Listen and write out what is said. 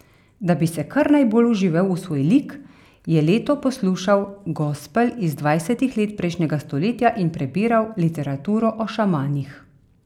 Da bi se kar najbolj vživel v svoj lik, je Leto poslušal gospel iz dvajsetih let prejšnjega stoletja in prebiral literaturo o šamanih.